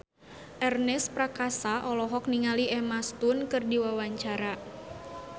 Ernest Prakasa olohok ningali Emma Stone keur diwawancara